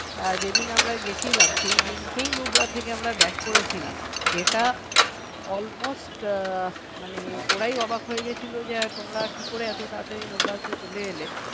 যেদিন আমরা গিয়েছিলাম সেদিন কি nubra থেকে আমরা back করেছিলাম যেটা almost মানে ওরাই অবাক হয়েছিল যে তোমরা কী করে এত তাড়াতাড়ি nubra থেকে চলে এলে